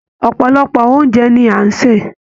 Ọpọlọpọ oúnjẹ ní a n ṣe.